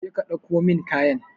Je ka dauko min kayan.